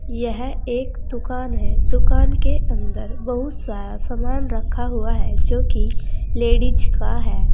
यह एक दुकान है दुकान के अंदर बहुत सारा समान रखा हुआ है जोकि लेडीज का है।